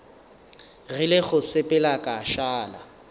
rile go sepela ka šala